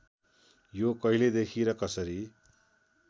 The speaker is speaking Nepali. यो कहिलेदेखि र कसरी